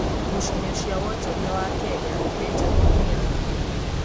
Ngucanio cĩa wonjoria wa Kenya nĩ njũru nginya ha?